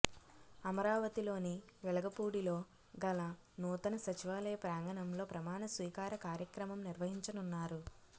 అమరావతిలోని వెలగపూడిలో గల నూతన సచివాలయ ప్రాంగణంలో ప్రమాణస్వీకార కార్యక్రమం నిర్వహించనున్నారు